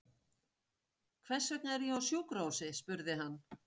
Hvers vegna er ég á sjúkrahúsi? spurði hann.